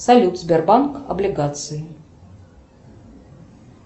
салют сбербанк облигации